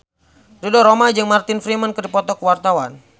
Ridho Roma jeung Martin Freeman keur dipoto ku wartawan